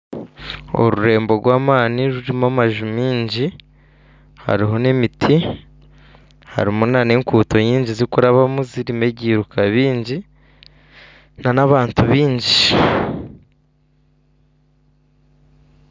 Orurembo rw'amaani rurimu amaju maingi hariho nemiti harimu nana enguuto nyingi zikurabamu harimu nebyiruka bingi nana abantu bingi